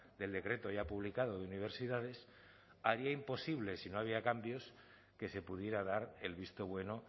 del decreto ya publicado de universidades haría imposible si no había cambios que se pudiera dar el visto bueno